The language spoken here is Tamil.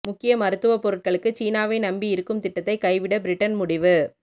முக்கிய மருத்துவப் பொருட்களுக்கு சீனாவை நம்பியிருக்கும் திட்டத்தை கைவிட பிரிட்டன் முடிவு